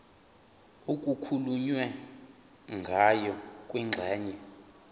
okukhulunywe ngayo kwingxenye